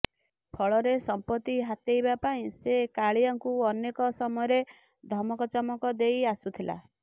ଫଳରେ ସମ୍ପତ୍ତି ହାତେଇବା ପାଇଁ ସେ କାଳିଆଙ୍କୁ ଅନେକ ସମୟରେ ଧମକଚମକ ଦେଇ ଆସୁଥିଲା